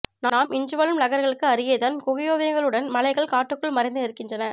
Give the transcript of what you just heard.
நாம் இன்றுவாழும் நகர்களுக்கு அருகேதான் குகையோவியங்களுடன் மலைகள் காட்டுக்குள் மறைந்து நின்றிருக்கின்றன